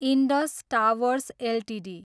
Indus Towers Ltd